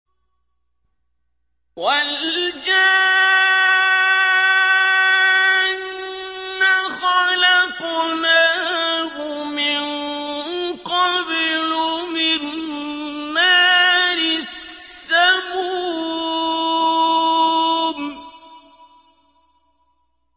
وَالْجَانَّ خَلَقْنَاهُ مِن قَبْلُ مِن نَّارِ السَّمُومِ